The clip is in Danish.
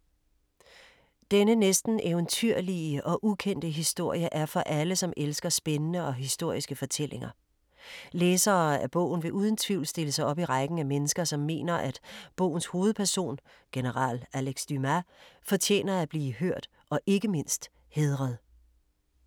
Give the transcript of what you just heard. Denne næsten eventyrlige og ukendte historie er for alle, som elsker spændende og historiske fortællinger. Læsere af bogen vil uden tvivl stille sig op i rækken af mennesker, som mener at bogens hovedperson, general Alex Dumas, fortjener at blive hørt og ikke mindst hædret.